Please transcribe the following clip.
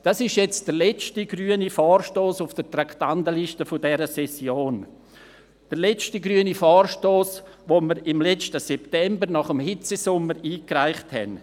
Das ist nun der letzte grüne Vorstoss auf der Traktandenliste dieser Session, der letzte grüne Vorstoss, den wir letzten September nach dem Hitzesommer einreichten.